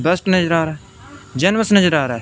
बस नज़र आ रहा है जनरस नज़र आ रहा है।